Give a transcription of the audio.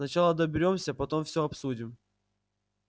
сначала доберёмся потом всё обсудим